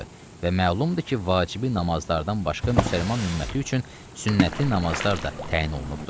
Və məlumdur ki, vacibi namazlardan başqa müsəlman ümməti üçün sünnəti namazlar da təyin olunubdur.